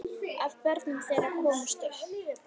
Af börnum þeirra komust upp